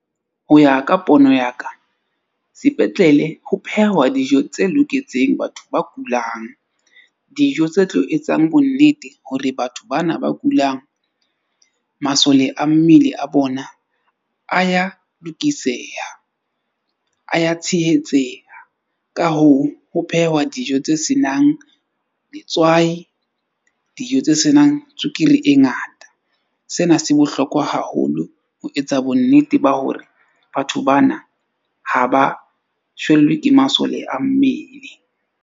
Ho ya ka pono ya ka sepetlele ho phehwa dijo tse loketseng batho ba kulang. Dijo tse tlo etsang bonnete hore batho bana ba kulang masole a mmele a bona a ya lokiseha, a ya tshehetseha. Ka hoo, ho phehwa dijo tse senang letswai, dijo tse senang tswekere e ngata. Sena se bohlokwa haholo ho etsa bonnete ba hore batho bana ha ba shwellwe ke masole a mmele.